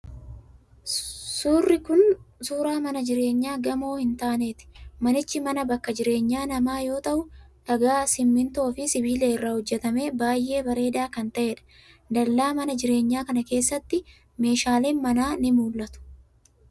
Suurri kun, suura mana jireenyaa gamoo hin taaneeti. Manichi ,mana bakka jireenya namaa yoo ta'u ,dhagaa, simiinoo fi sibiila irraa hojjatamee baay'ee bareedaa kan ta'eedha. Dallaa mana jireenyaa kana keessatti, meeshaleen manaa ni mul'atu.